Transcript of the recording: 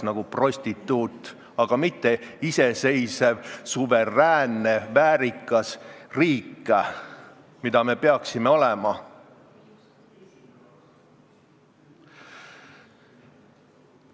– nagu prostituut, aga mitte iseseisev suveräänne väärikas riik, mis me peaksime olema.